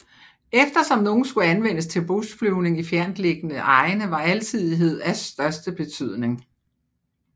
Eftersom nogle skulle anvendes til bushflyvning i fjerntliggende egne var alsidighed af største betydning